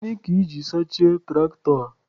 Gịnị ka iji sachie tụraktọ?